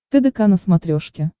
тдк на смотрешке